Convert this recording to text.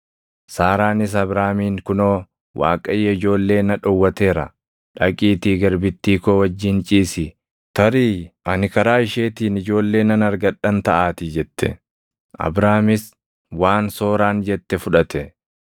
Saaraanis Abraamiin, “Kunoo Waaqayyo ijoollee na dhowwateera. Dhaqiitii garbittii koo wajjin ciisi; tarii ani karaa isheetiin ijoollee nan argadhan taʼaatii” jette. Abraamis waan Sooraan jette fudhate.